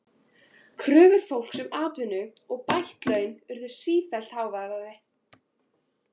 Kröfur fólks um atvinnu og bætt laun urðu sífellt háværari.